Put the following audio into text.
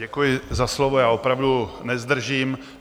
Děkuji za slovo, já opravdu nezdržím.